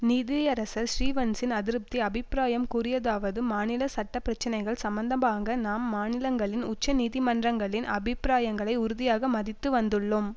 நீதியரசர் ஸ்ரீவன்சின் அதிருப்தி அபிப்பிராயம் கூறியதாவது மாநில சட்ட பிரச்சினைகள் சம்பந்தமாக நாம் மாநிலங்களின் உச்ச நீதிமன்றங்களின் அபிப்பிராயங்களை உறுதியாக மதித்து வந்துள்ளோம்